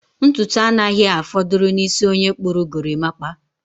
Ntutu anaghị afọdụrụ n'isi onye kpụrụ gorimapa.